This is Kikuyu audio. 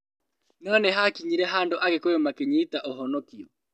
No nĩhakinyire handũ agĩkũyũ makĩnyita ũhonokio